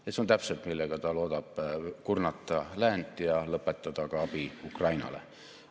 See on täpselt see, millega ta loodab kurnata läänt ja lõpetada ka abi Ukrainale.